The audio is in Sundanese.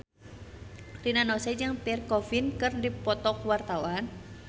Rina Nose jeung Pierre Coffin keur dipoto ku wartawan